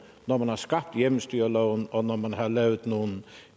når man har skabt hjemmestyreloven og når man har lavet nogle